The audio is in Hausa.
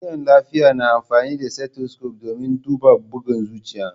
Jami'an lafiya na amfani da stethoscope domin duba bugun zuciya.